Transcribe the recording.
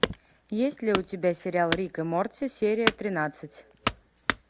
есть ли у тебя сериал рик и морти серия тринадцать